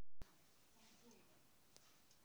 Hũthĩra ndawa cia mĩtĩ na njĩra ya kwĩmenyerera.